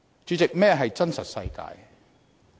主席，何謂真實世界呢？